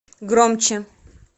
громче